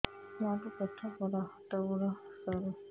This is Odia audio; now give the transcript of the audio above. ମୋର ପେଟ ବଡ ହାତ ଗୋଡ ସରୁ